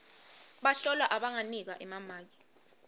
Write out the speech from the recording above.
bahlolwa abanganikwa emamaki